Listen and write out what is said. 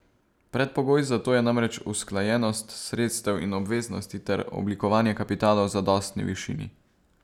Predpogoj za to je namreč usklajenost sredstev in obveznosti ter oblikovanje kapitala v zadostni višini.